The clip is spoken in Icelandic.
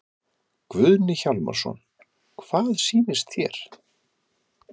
Guðni Hjálmarsson: Hvað sýnist þér?